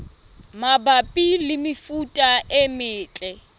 mabapi le mefuta e metle